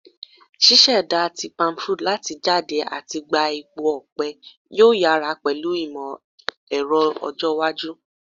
Ṣiṣẹda ti palmfruit lati jade ati gba epo ọpẹ yoo yara pẹlu imọ-ẹrọ ọjọ iwaju